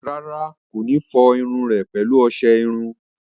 Rárá, kò ní fọ irun rẹ̀ pẹ̀lú ọsẹ iru